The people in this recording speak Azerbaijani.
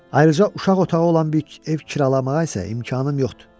Ayırca uşaq otağı olan bir ev kirayə almağa isə imkanım yoxdur.